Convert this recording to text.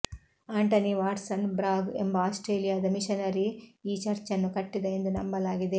Antony Watson Bragg ಎಂಬ ಆಸ್ಟ್ರೇಲಿಯಾದ missionary ಈ ಚರ್ಚನ್ನು ಕಟ್ಟಿದ ಎಂದು ನಂಬಲಾಗಿದೆ